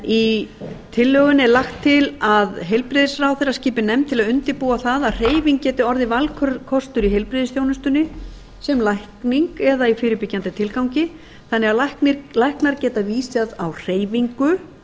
í tillögunni er lagt til að heilbrigðisráðherra skipi nefnd til að undirbúa að hreyfing geti orðið valkostur í heilbrigðisþjónustunni sem lækning eða í fyrirbyggjandi tilgangi þannig að læknar geti vísað á hreyfingu